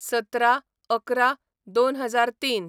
१७/११/२००३